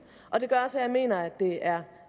og det gør også at jeg mener at det er